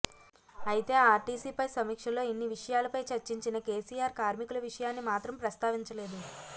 అయితే ఆర్టీసీ పై సమీక్ష లో ఇన్ని విషయాలపై చర్చించిన కెసిఆర్ కార్మికుల విషయాన్ని మాత్రం ప్రస్తావించలేదు